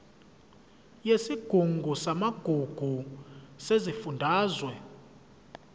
yesigungu samagugu sesifundazwe